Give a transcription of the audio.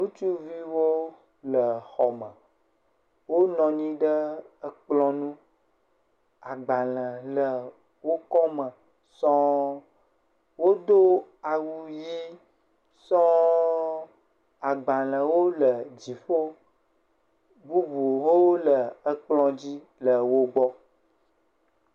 Ŋutsuviwo le xɔme, wonɔ anyi ɖe kplɔ ŋu, agbalẽwo le wo kɔme sɔŋ. Wodo awu ʋɛ̃ sɔŋ, agbalẽwo le dziƒo, bubuwo le ekplɔ dzi le wo gbɔ.